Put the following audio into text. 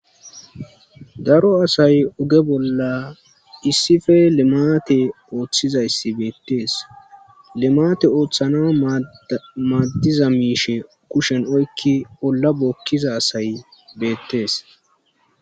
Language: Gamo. Daro asay uge bolla issife lemate ooththizayssi beettees lemate ooththana maaddiza miishe kushen oykki olla bookkiza asay beettees.